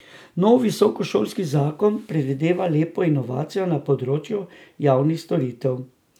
Nov visokošolski zakon predvideva lepo inovacijo na področju javnih storitev.